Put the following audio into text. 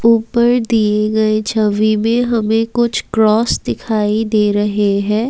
उपर दिये गए छवि मे हमे कुछ क्रॉस दिखाई दे रहे है।